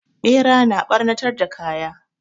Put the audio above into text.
Ɓera na ɓarnatar da kaya.